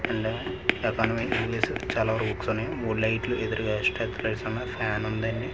మూడు లైట్లు ఎదురుగా స్టెప్ లైట్స్ ఉన్నాయి ఫ్యాన్ ఉంది అండి.